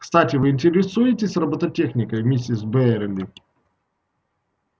кстати вы интересуетесь робототехникой миссис байерли